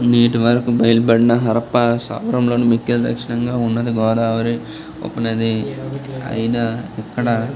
నీటి వరకు బయల్ బండ హరప్పా స్థావరంలోని ముఖ్య దర్శనంగా ఉన్నది గోదావరి ఉపనది అయినా ఇక్కడ --